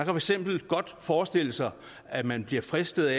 for eksempel godt forestille sig at man bliver fristet